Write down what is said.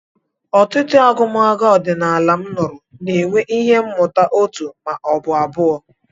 Ọtụtụ agụmagụ ọdịnala m nụrụ na-enwe ihe mmụta òtù ma ọ bụ abụọ.